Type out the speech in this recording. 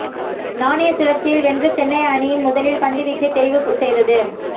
நாணய சுழற்சியில் வென்ற சென்னை அணி முதலில் பந்து வீச்சை தெரிவுவு செய்தது